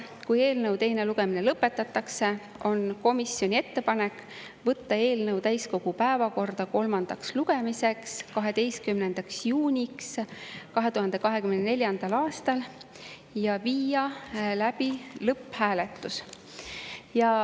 Kui eelnõu teine lugemine lõpetatakse, on komisjoni ettepanek võtta eelnõu täiskogu päevakorda kolmandaks lugemiseks 12. juuniks 2024. aastal ja viia läbi lõpphääletus.